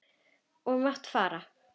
Ég mátti fara.